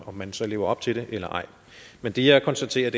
om man så lever op til det eller ej men det jeg konstaterer